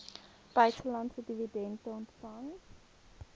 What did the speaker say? buitelandse dividende ontvang